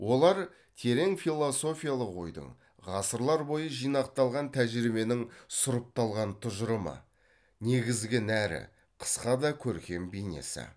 олар терең философиялық ойдың ғасырлар бойы жинақталған тәжірибенің сұрыпталған тұжырымы негізгі нәрі қысқа да көркем бейнесі